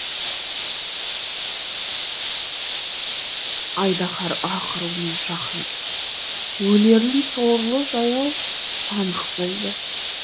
айдаһар ақырумен жақын келді өлерін сорлы жаяу анық білді